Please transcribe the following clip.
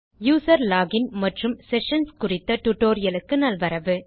user login மற்றும் sessions குறித்த டுடோரியலுக்கு நல்வரவு